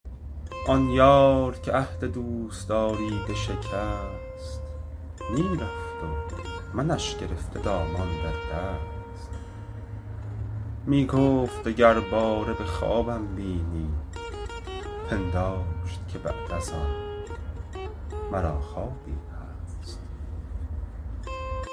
آن یار که عهد دوستاری بشکست می رفت و منش گرفته دامان در دست می گفت دگر باره به خوابم بینی پنداشت که بعد از آن مرا خوابی هست